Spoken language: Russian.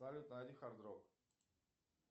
салют найди хард рок